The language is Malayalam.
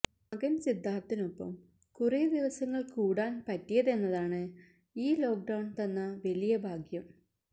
മകൻ സിദ്ധാർത്ഥിനൊപ്പം കുറെ ദിവസങ്ങൾ കൂടാൻ പറ്റിയതെന്നതാണ് ഈ ലോക്ക്ഡൌൺ തന്ന വലിയ ഭാഗ്യം